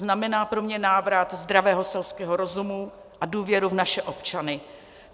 Znamená pro mě návrat zdravého selského rozumu a důvěry v naše občany.